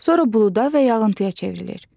Sonra buluda və yağıntıya çevrilir.